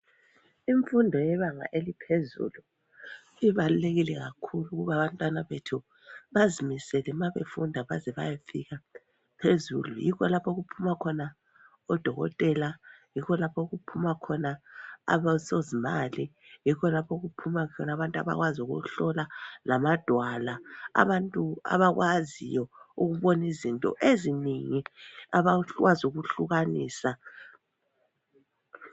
Imfundo yebanga eliphezulu ibalulekile kakhulu ukuba abantwana bethu bazimisele ma befunda baze bayefika phezulu yikho lapho okuphuma khona odokotela, yikho lapho okuphuma khona abosozimali, yikho lapho okuphuma khona abantu abazi ukuhlola lamadwala, abantu abakwaziyo ukubona izinto ezinengi abakwazi ukuhlukanisa